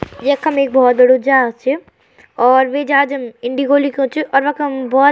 यक्खम एक भौत बडू जहाज च यो और वे जहाज म इंडिगो लिख्युं च और वखम भौत --